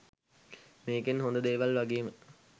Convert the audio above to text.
මේකෙන් හොඳ දේවල් වගේම